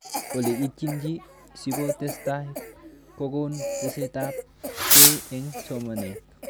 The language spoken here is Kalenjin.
Ole itchini siko testai kokon tesetaiab kei eng' soamnet